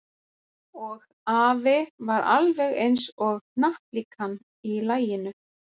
Og afi var alveg eins og hnattlíkan í laginu.